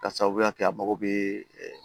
K'a sababuya kɛ a mago bɛ